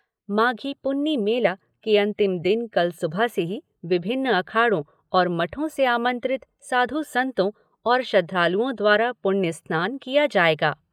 माघी पुन्नी मेला के अंतिम दिन कल सुबह से ही विभिन्न अखाड़ों और मठों से आमंत्रित साधु संतों और श्रद्धालुओं द्वारा पुण्य स्नान किया जाएगा।